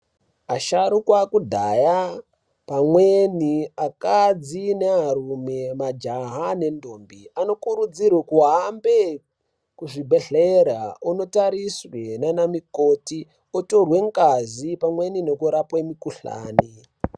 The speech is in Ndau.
Asharukwa akadhaya pamweni akadzi nearume, majaha nendombo anokurudzirwe kuhambe kuzvibhedhlera, onotariswe nana mukoti otorwe ngazi pamweni nekurapwe mikuhlani.